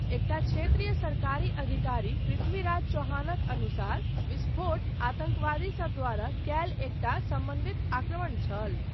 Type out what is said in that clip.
एकटा क्षेत्रीय सरकारी अधिकारी, पृथ्वीराज चव्हाणक अनुसार, विस्फोट आतङ्कवादीसब द्वारा कयल एकटा समन्वित आक्रमण छल।